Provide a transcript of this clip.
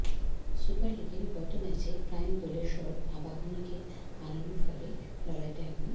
super লিগের গত ম্যাচে প্রাইম দোলেশ্বর আবাহনীকে হারানো ফলে লড়াইটা এখন